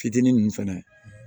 Fitinin nunnu fɛnɛ